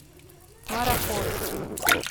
мараховский